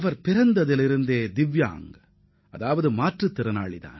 அவர் பிறவியிலேயே ஒரு மாற்றுத் திறனாளி